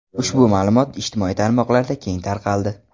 Ushbu ma’lumot ijtimoiy tarmoqlarda keng tarqaldi.